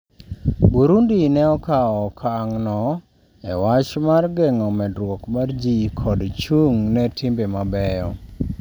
Burundi ne okawo okang' no e wach mar geng'o medruok mar ji kod chung' ne timbe mabeyo